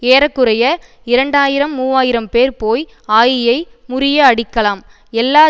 ஏற குறைய இரண்டாயிரம் மூவாயிரம்பேர் போய் ஆயியை முறிய அடிக்கலாம் எல்லா